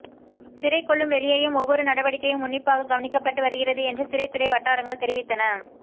சிறைக்குள்ளும் வெளியேயும் ஓவ்வொரு நடவடிக்கையும் உன்னிப்பாக கவனிக்கப்பட்டு வருகிறது என்று சிறைத்துறை வட்டாரங்கள் தெரிவித்தன